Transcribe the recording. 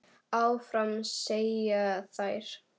Áfram, segja þær.